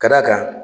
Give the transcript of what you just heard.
Ka d'a kan